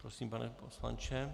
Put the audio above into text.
Prosím, pane poslanče.